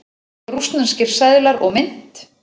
Rússneskir seðlar og mynt.